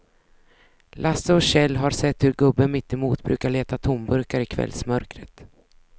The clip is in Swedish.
Lasse och Kjell har sett hur gubben mittemot brukar leta tomburkar i kvällsmörkret.